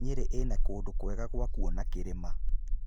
Nyeri ĩna kũndũ kwega gwa kuona kĩrĩma.